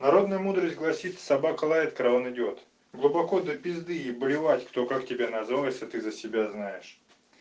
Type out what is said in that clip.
народная мудрость гласит собака лает караван идёт глубоко до пизды и блевать кто как тебя называл если ты за себя знаешь